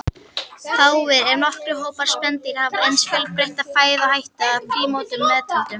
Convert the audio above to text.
Fáir, ef nokkrir, hópar spendýra hafa eins fjölbreytta fæðuhætti, að prímötum meðtöldum.